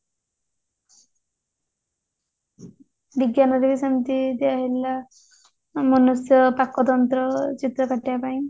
ବିଜ୍ଞାନରେ ସେମିତି ଦିଆ ହେଇଥିଲେ ମନୁଷ୍ୟର ପାକତନ୍ତ୍ର ଚିତ୍ରକାଟିବା ପାଇଁ